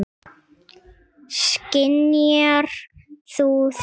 Skynjar þú það?